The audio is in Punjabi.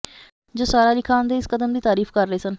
ਜੋ ਸਾਰਾ ਅਲੀ ਖਾਨ ਦੇ ਇਸ ਕਦਮ ਦੀ ਤਾਰੀਫ ਕਰ ਰਹੇ ਸਨ